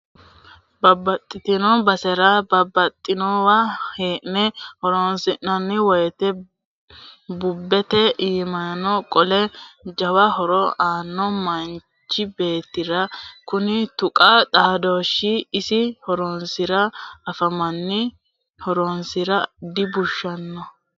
Babbaxxitino basera babbaxxinowa hee'ne horonsi'nanni woyte bubete iimani qole jawa horo aano manchi beettira kuni tuqu xaadooshi iso horosi anfanni horonsira dibushshano.